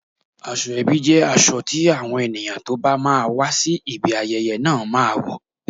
Aṣọ ebi jẹ́ aṣọ tí àwọn ènìyàn tó bá máa wá sí ibi ayẹyẹ náà máa wò